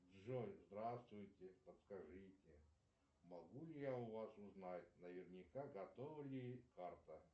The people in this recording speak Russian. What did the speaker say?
джой здравствуйте подскажите могу ли я у вас узнать наверняка готова ли карта